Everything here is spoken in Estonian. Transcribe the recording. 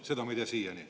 Seda me ei tea siiani.